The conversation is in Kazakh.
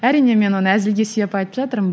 әрине мен оны әзілге сүйеп айтып жатырмын